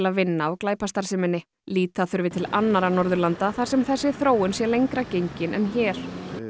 að vinna á glæpastarfseminni líta þurfi til annarra Norðurlanda þar sem þessi þróun sé lengra gengin en hér